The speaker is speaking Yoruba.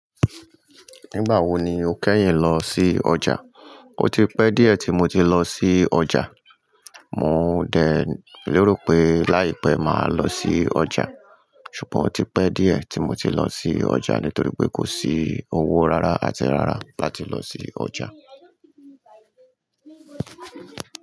Nígbà wo ni o kẹ́yìn lọ sí ọjà? O ti pẹ́ díẹ̀ tí mo ti lọ sí ọjà. Mò ń dẹ̀ lérò pé láìpẹ́ máa lọ sí ọjà, ṣùgbọ́n o ti pẹ́ díẹ̀ tí mo ti lọ sí ọjà nítorí pé kò sí owó rara àti rara láti lọ sí ọjà.